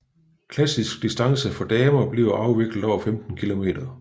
Klassisk distance for damer bliver afviklet over 15 km